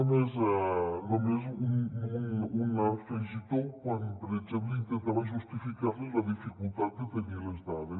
només un afegitó quan per exemple intentava justificar·li la dificultat de tenir les dades